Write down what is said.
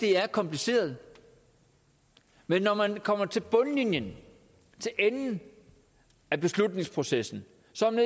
er kompliceret men når man kommer til bundlinjen til enden af beslutningsprocessen